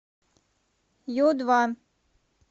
ю два